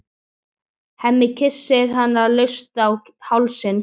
Hemmi kyssir hana laust á hálsinn.